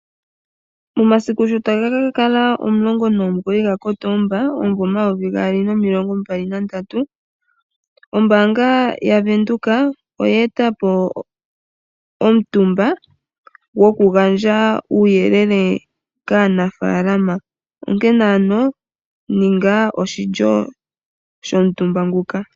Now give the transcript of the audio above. Momasiku sho taga kakala omulongo nomugoyi gakotoomba omuvo omayovi gaali nomilongo mbali nandatu, ombaanga yavenduka oya eta po omutumba gokugandja uuyelele kaanafaalama, onkene ano ninga oshilyo shomutumba nguka.